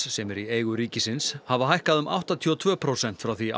sem er í eigu ríkisins hafa hækkað um áttatíu og tvö prósent frá því